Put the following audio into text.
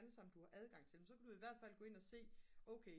alle sammen du har adgang til jamen så kan du i hvert fald gå ind at se jamen okay